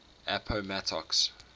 appomattox